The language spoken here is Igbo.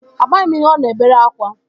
Amaghị m ihe ọ na-ebere akwa